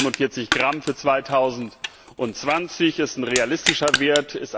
Die 147 Gramm für 2020 sind ein realistischer Wert.